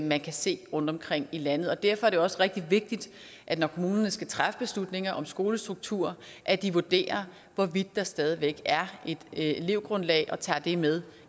man kan se rundtomkring i landet derfor er det jo også rigtig vigtigt når kommunerne skal træffe beslutninger om skolestruktur at de vurderer hvorvidt der stadig væk er et elevgrundlag og tager det med